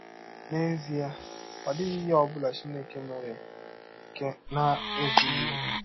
N’ezie, ọ dịghị ihe ọ bụla Chineke mere nke na - ezụghị ọkè.